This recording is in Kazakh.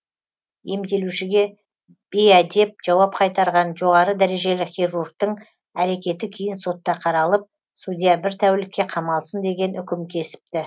емделушіге бейәдеп жауап қайтарған жоғары дәрежелі хирургтың әрекеті кейін сотта қаралып судья бір тәулікке қамалсын деген үкім кесіпті